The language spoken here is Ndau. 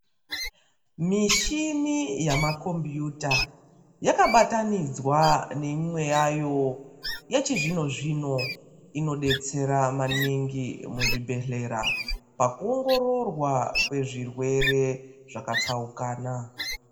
Mishini yamakombiyuta yakabatanidzwa neimwe yayo yechizvino zvino inodetsera maningi muzvibhedhlera pakuongororwa kwezvirwere zvakatsaukana.